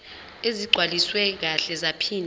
ezigcwaliswe kahle zaphinde